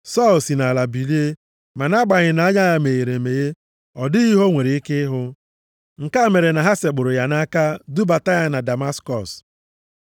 Sọl si nʼala bilie, ma nʼagbanyeghị nʼanya ya meghere emeghe, ọ dịghị ihe o nwere ike ịhụ. Nke a mere na ha sekpụrụ ya nʼaka dubata ya na Damaskọs.